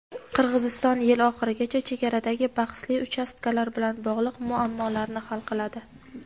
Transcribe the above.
Qirg‘iziston yil oxirigacha chegaradagi bahsli uchastkalar bilan bog‘liq muammolarni hal qiladi.